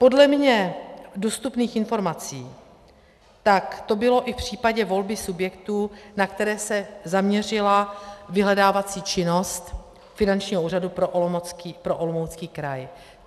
Podle mně dostupných informací tak to bylo i v případě volby subjektů, na které se zaměřila vyhledávací činnost Finančního úřadu pro Olomoucký kraj.